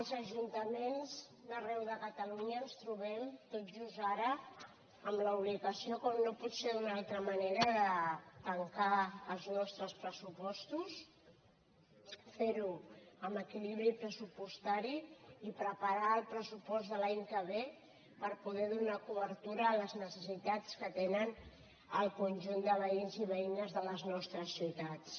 els ajuntaments d’arreu de catalunya ens trobem tot just ara amb l’obligació com no pot ser d’una altra manera de tancar els nostres pressupostos fer ho amb equilibri pressupostari i preparar el pressupost de l’any que ve per poder donar cobertura a les necessitats que tenen el conjunt de veïns i veïnes de les nostres ciutats